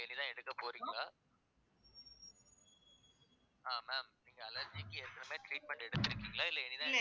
இனிதான் எடுக்கப் போறீங்களா ஆஹ் ma'am நீங்க allergy க்கு ஏற்கனவே treatment எடுத்திருக்கீங்களா இல்லை